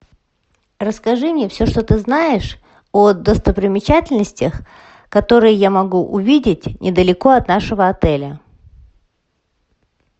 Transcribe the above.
расскажи мне все что ты знаешь о достопримечательностях которые я могу увидеть недалеко от нашего отеля